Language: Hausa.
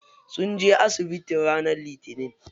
Sun je asibiti ranar litinin.